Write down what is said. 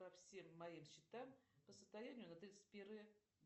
по всем моим счетам по состоянию на тридцать первое